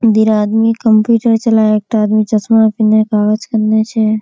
इधर आदमी कंप्यूटर चलाए एकटा आदमी चश्मा पिन्हे कागज करने छै।